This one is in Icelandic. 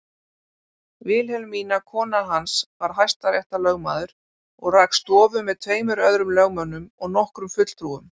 Vilhelmína konan hans var hæstaréttarlögmaður og rak stofu með tveimur öðrum lögmönnum og nokkrum fulltrúum.